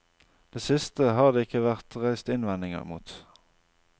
Det siste har det ikke vært reist innvendinger mot.